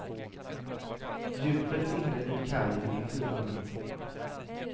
Djupet inne vid kajen är fyra meter.